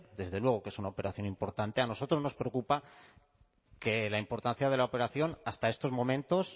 desde luego que es una operación importante a nosotros nos preocupa que la importancia de la operación hasta estos momentos